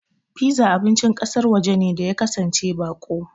Piza abincin ƙasar waje ne da ya kasance baƙo.